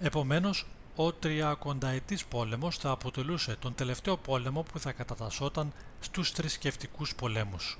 επομένως ο τριακονταετής πόλεμος θα αποτελούσε τον τελευταίο πόλεμο που θα κατατασσόταν στους θρησκευτικούς πολέμους